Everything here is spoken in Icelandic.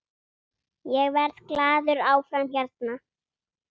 Ég verð glaður áfram hérna.